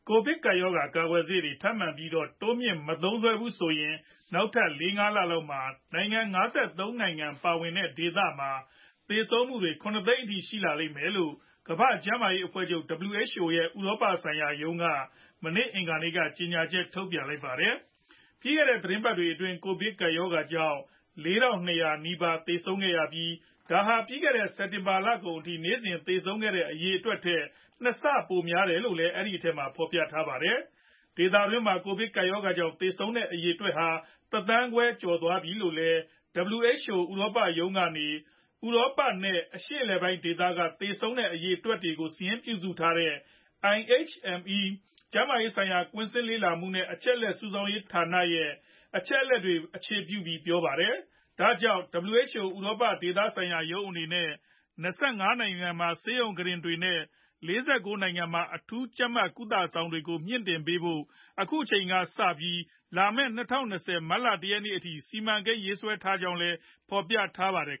ကိုဗစ်ကပ်ရောဂါ ကာကွယ်ဆေးတွေ ထပ်မံပြီးတော့ တိုးမြှင့်ပြီးမသုံးစွဲကြဘူးဆိုရင် နောက်ထပ်လေးလလောက်မှာ နိုင်ငံ ၅၃နိုင်ငံပါဝင်တဲ့ဒေသမှာနောက်ထပ်သေဆုံးမှုတွေ ၇သိန်းအထိရှိလာလိမ့်မယ်လို့ ကမ္ဘာကျန်းမာရေးအဖွဲ့ချုပ် WHO ရဲ့ဥရောပဆိုင်ရာ ရုံးကနေ မနေ့ အင်္ဂါနေ့က ကြေညာချက်ထုတ်ပြန်ပါတယ်။ ပြီးခဲ့တဲ့ သီတင်းပတ်တွေအတွင်း ကိုဗစ်ကပ်ရောဂါကြောင့် ၄၂ဝဝ နီးပါးသေဆုံးခဲ့ရပြီး ဒါဟာ ပြီးခဲ့တဲ့ စက်တင်ဘာလကုန်အထိ နေ့စဉ်သေဆုံးခဲ့တဲ့အရေအတွက်ထက် ၂ ဆပိုများတယ်လို့လည်း အဲဒီအထဲမှာ ဖော်ပြထားပါတယ်။ ဒေသတွင်မှာ ကိုဗစ်ကပ်ရောဂါကြောင့်သေဆုံးတဲ့အရေအတွက်ဟာ တသန်းခွဲကျော်သွားပြီလို့လည်း WHO ဥရောပရုံးကနေ ဥရောပ နဲ့ အရှေ့အလယ်ပိုင်းဒေသက သေဆုံးတဲ့အရေအတွက်တွေကို စာရင်းပြုစုထားတဲ့ IHME ကျန်းမာရေး ဆိုင်ရာ ကွင်းဆင်းလေ့လာမှုနဲ့ အချက်အလက်စုဆောင်းရေးဌာန အပေါ်အခြေပြုပြီးပြောပါတယ်။ ဒါကြောင့် WHO ဥရောပ ဒေသဆိုင်ရာရုံးအနေနဲ့၂၅နိုင်ငံမှာ ဆေးရုံကုတင်တွေနဲ့ ၄၉ နိုင်ငံမှာ အထူးကြပ်မတ်ကုသဆောင်တွေကိုလည်း မြှင့်တင်ပေးဖို့ အခုအချိန်ကစပြီး လာမယ့် ၂ဝ၂၂ မတ်လ ၁ရက်နေ့အထိ စီမံကိန်းရေးဆွဲနေပါတယ်လို့လည်း ဖော်ပြထားပါတယ်